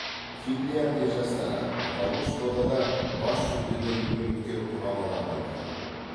финляндия жастары аталмыш додада бас жүлдеден үміткер құрамалардың бірі